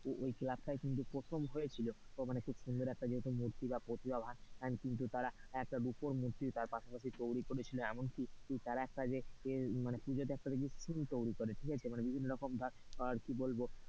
ওই ক্লাবটাই ধরে প্রথম হয়েছিল খুব সুন্দর একটা মূর্তি বা প্রতিভাবান কিন্তু তারা রুপোর মূর্তি তার পাশাপাশি তৈরী করেছিল এমন কি তারা যে একটা যে পুজোতে একটা দেখবি theme তৈরী করে ঠিক আছে মানে বিভিন্ন রকম ধরে কি বলবো,